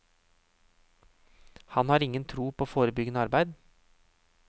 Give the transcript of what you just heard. Han har ingen tro på forebyggende arbeid.